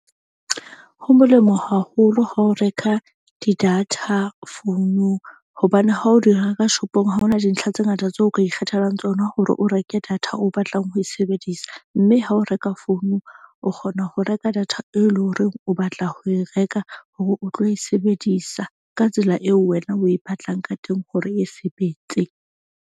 Ho molemo haholo ha o reka di-data founung hobane ha o di reka shop-ong ha ona dintlha tse ngata tseo ka ikgethelang tsona. Hore o reke data o batlang ho e sebedisa. Mme ha o reka founung, o kgona ho reka data e leng horeng o batla ho e reka hore o tlo e sebedisa ka tsela eo wena o e batlang ka teng hore e sebetse.